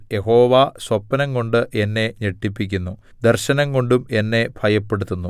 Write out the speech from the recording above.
യഹോവ സ്വപ്നംകൊണ്ട് എന്നെ ഞെട്ടിപ്പിക്കുന്നു ദർശനംകൊണ്ടും എന്നെ ഭയപ്പെടുത്തുന്നു